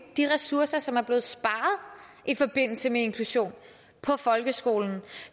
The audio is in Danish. de ressourcer som er blevet sparet i forbindelse med inklusion på folkeskolen